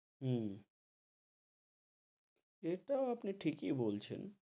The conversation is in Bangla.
হম ইটা আপনি ঠিকি বলছেন,